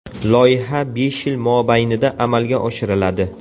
Loyiha besh yil mobaynida amalga oshiriladi.